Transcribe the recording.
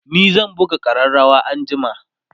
ni zan buga ƙararawa anjima